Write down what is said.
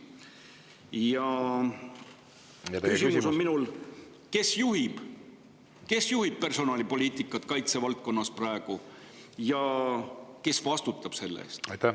Ja minu küsimus on: kes juhib praegu personalipoliitikat kaitsevaldkonnas ja kes vastutab selle eest?